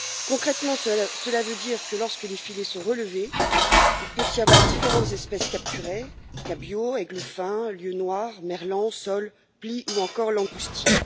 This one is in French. Concrètement, cela veut dire que, lorsque les filets sont relevés, il peut y avoir différentes espèces capturées cabillaud, églefin, lieu noir, merlan, sole, plie ou encore langoustine.